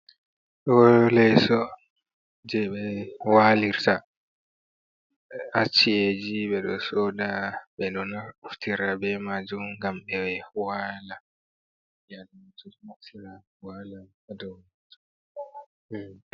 Ɗo leso je ɓe walirta haciyeji ɓeɗo soda ɓeɗo naftira be majum ngam ɓe wala hadow majum.